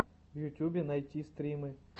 в ютюбе найти стримы